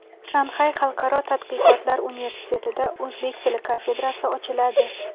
Shanxay Xalqaro tadqiqotlar universitetida o‘zbek tili kafedrasi ochiladi.